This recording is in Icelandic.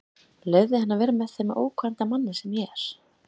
Leyfði henni að vera með þeim ókvænta manni sem ég er.